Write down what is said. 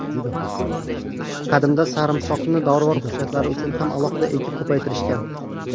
Qadimda sarimsoqni dorivor xususiyatlari uchun ham alohida ekib, ko‘paytirishgan.